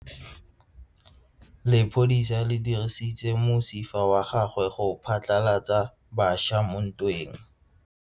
Lepodisa le dirisitse mosifa wa gagwe go phatlalatsa batšha mo ntweng.